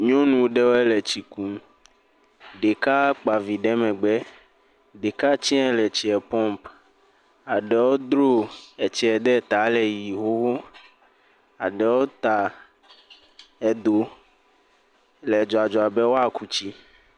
Nyɔnu ɖewo le tsi kum, ɖeka kpa vi ɖe megbe, ɖeka tse le tsie pump aɖewe dro tsie ɖe ta le yiym xoxo, aɖewe tse ta eɖo le dzɔdzɔ be woaku tsi.